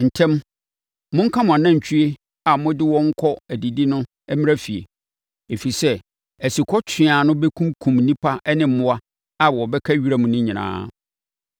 Ntɛm! Monka mo anantwie a mode wɔn kɔ adidi no mmra efie. Ɛfiri sɛ, asukɔtweaa no bɛkum nnipa ne mmoa a wɔbɛka wiram no nyinaa.”